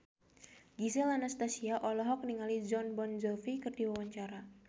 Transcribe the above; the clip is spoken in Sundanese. Gisel Anastasia olohok ningali Jon Bon Jovi keur diwawancara